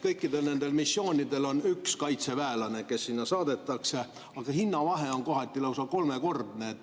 Kõikidel nendel missioonidel on üks kaitseväelane, kes sinna saadetakse, aga hinnavahe on kohati lausa kolmekordne.